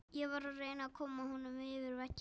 Ég var að reyna að koma honum yfir vegginn.